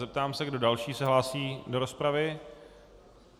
Zeptám se, kdo další se hlásí do rozpravy.